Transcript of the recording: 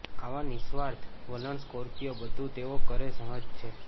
આવા નિઃસ્વાર્થ વલણ સ્કોર્પિયો બધું તેઓ કરે સહજ છે